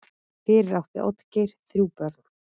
Fyrir átti Oddgeir þrjú börn.